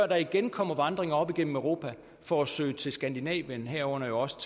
der igen kommer vandringer op igennem europa for at søge til skandinavien herunder også